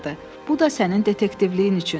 Bu da sənin detektivliyin üçün.